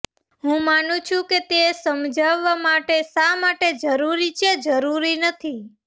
હું માનું છું કે તે સમજાવવા માટે શા માટે આ જરૂરી છે જરૂરી નથી